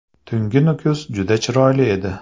Tungi Nukus juda chiroyli edi.